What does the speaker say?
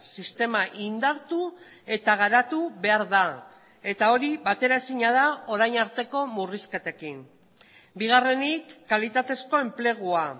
sistema indartu eta garatu behar da eta hori bateraezina da orain arteko murrizketekin bigarrenik kalitatezko enplegua